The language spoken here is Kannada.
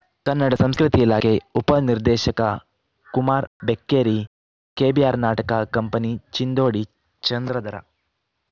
ಕನ್ನಡ ಸಂಸ್ಕೃತಿ ಇಲಾಖೆ ಉಪ ನಿರ್ದೇಶಕ ಕುಮಾರ್ ಬೆಕ್ಕೇರಿ ಕೆಬಿಆರ್‌ ನಾಟಕ ಕಂಪನಿ ಚಿಂದೋಡಿ ಚಂದ್ರಧರ